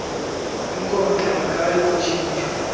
inkonkxa akayi kutshintshwa